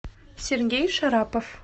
сергей шарапов